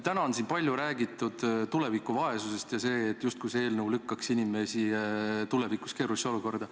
Täna on siin palju räägitud tuleviku vaesusest ja sellest, et see eelnõu lükkab inimese tulevikus keerulisse olukorda.